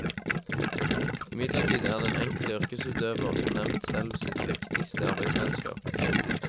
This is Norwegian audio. Imidlertid er den enkelte yrkesutøver som nevnt selv sitt viktigste arbeidsredskap.